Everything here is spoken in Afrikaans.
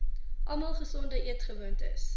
almal gesonde eetgewoontes